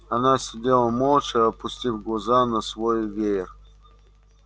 она сидела молча опустив глаза на свой веер